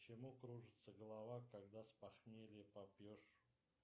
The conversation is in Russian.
почему кружится голова когда с похмелья попьешь